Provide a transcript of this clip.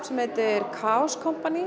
sem heitir Kaaos